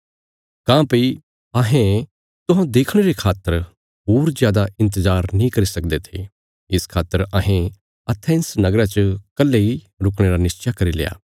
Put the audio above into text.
काँह्भई अहें तुहौं देखणे रे खातर होर जादा इन्तजार नीं करी सकदे थे इस खातर अहें एथेंस नगरा च कल्हे ही रुकणे रा निश्चा करील्या